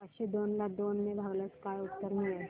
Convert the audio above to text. पाचशे दोन ला दोन ने भागल्यास काय उत्तर मिळेल